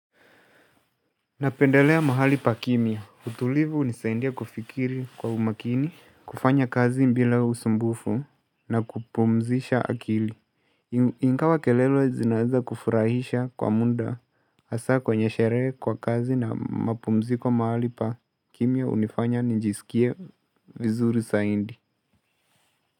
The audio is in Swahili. Napendelea mahali pa kimya utulivu hunisaindia kufikiri kwa umakini. Kufanya kazi bila usumbufu na kupumzisha akili. Ingawa kelele zinaeza kufurahisha kwa muda hasaa kwenye sherehe kwa kazi na mapumziko mahali pa kimya hunifanya nijisikie vizuri zaidi.